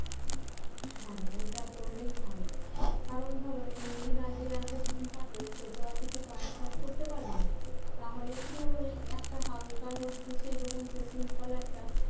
হ্যাঁ ওটা পরলেই ভালো কারণ ধরো মেহেন্দির আগে একবারে দুই হাতে সে তো আর কাজ টাজ করতে পারবে না তাহলে কি হবে একটা হালকার মধ্যে সেই তখন simple একটা